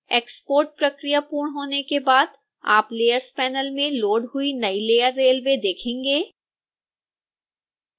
export प्रक्रिया पूर्ण होने के बाद आप layers panel में लोड हुई नई लेयर railway देखेंगे